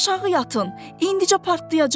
Aşağı yatın, indlicə partlayacaq!